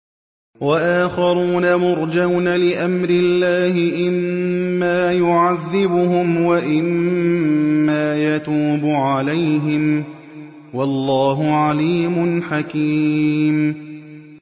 وَآخَرُونَ مُرْجَوْنَ لِأَمْرِ اللَّهِ إِمَّا يُعَذِّبُهُمْ وَإِمَّا يَتُوبُ عَلَيْهِمْ ۗ وَاللَّهُ عَلِيمٌ حَكِيمٌ